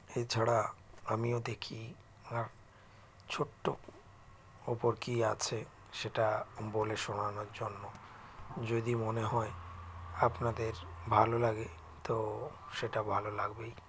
এছাড়া আমিও দেখি আ ছোট্টো ওপর কী আছে সেটা বলে শোনানোর জন্য যদি মনে হয় আপনাদের ভালো লাগে তো সেটা ভালো লাগবেই